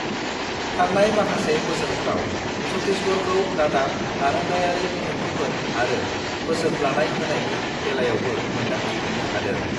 "थांनाय माखासे बोसोरफ्राव, छत्तीसगढ़खौ रादाब आरोंदायारि बिथांखिफोर आरो बोसोन लानाय-होनायनि बेलायावबो मोनदांथि मोननो हादों।"